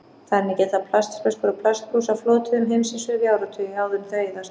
Þannig geta plastflöskur og plastbrúsar flotið um heimsins höf í áratugi áður en þau eyðast.